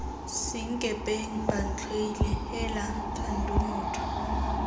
senkepeng bantlhoile heela thando motho